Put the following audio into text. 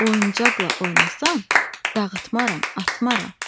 Oyuncaqla oynasam dağıtmaram, atmaram.